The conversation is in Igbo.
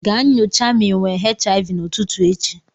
Ga nyocha ma ị nwe HIV n'ụtutu echi.